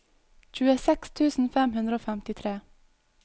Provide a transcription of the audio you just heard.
tjueseks tusen fem hundre og femtitre